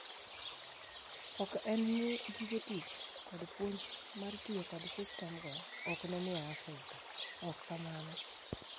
Ok en ni gige tich kod puonj mar tiyo kod sistemgo ok ni e Afrika, ok kamano!